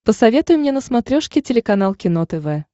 посоветуй мне на смотрешке телеканал кино тв